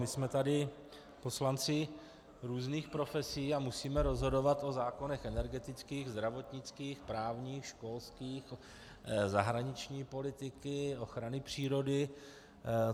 My jsme tady poslanci různých profesí a musíme rozhodovat o zákonech energetických, zdravotnických, právních, školských, zahraniční politiky, ochrany přírody.